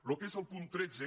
el que és el punt tretze